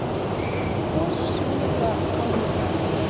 курс шиллинга в калуге